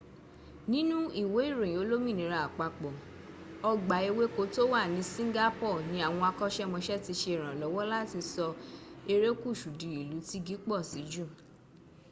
nínú ìwé ìròyìn olómìnira àpapọ̀ ọgbà ewéko to wà ní singapore ní àwọn akọ́ṣẹ́mọṣẹ ti ṣe ìrànlọ́wọ́ láti sọ erékùsù di ìlú tígi pọ̀ sí jù